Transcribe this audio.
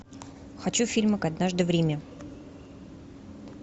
хочу фильмик однажды в риме